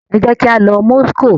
Ẹ jẹ kí a lọ Moscow!